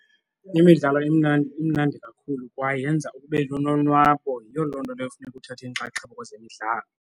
Imidlalo imnandi imnandi kakhulu kwaye yenza ube nolonwabo yiyo loo nto leyo funeka uthathe inxaxheba kwezemidlalo.